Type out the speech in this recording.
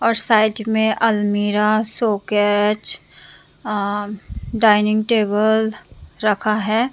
और साइड में अलमीरा शोकेच अ डाइनिंग टेबल रखा है।